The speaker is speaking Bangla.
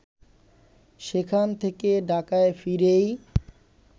সেখান থেকে ঢাকায় ফিরেই